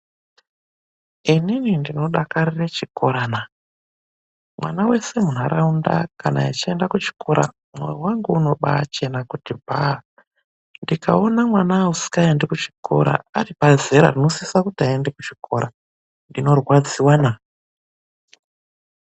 Inini ndinodakarire chikorana! Mwana wese munharaunda kana echienda kuchikora mwoyo wangu unobaachena kuti bhaa. Ndikaona mwana usikaendi kuchikora aripazera rinosisa kuti aende kuchikora, ndinorwadziwana.